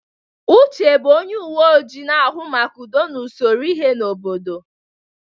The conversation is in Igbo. Uche bụ onye uwe ojii na-ahụ maka udo na usoro ihe n'obodo.